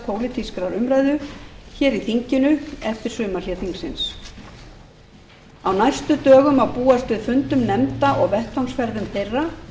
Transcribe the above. pólitískrar umræðu hér í þinginu eftir sumarhlé þingsins á næstu dögum má búast við fundum nefnda og vettvangsferðum þeirra